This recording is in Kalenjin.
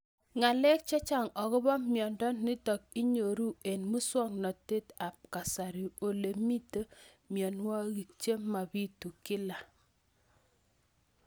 Ng'alek chechang' akopo miondo nitok inyoru eng' muswog'natet ab kasari ole mito mianwek che mapitu kila